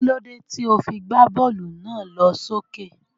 kílódé tí o fi gbá bọ́ọ́lù náà lọ s'ókè?